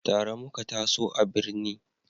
Tare muka taso a birni